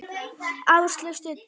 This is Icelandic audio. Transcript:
Áslaug stundi.